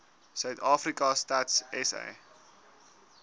suidafrika stats sa